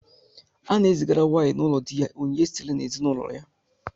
A na-ezigara nwaanyị n'ụlọ di ha onyinye sitere n'ezinaụlọ ya.